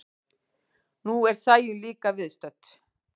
Nú er Sæunn líka viðstödd.